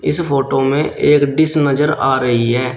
इस फोटो में एक डिश नजर आ रही है।